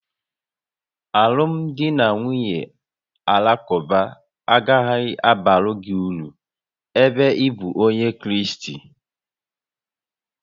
Alụmdi na nwunye Alakụba agaghị abara gị uru ebe ị bụ Onye Kraịst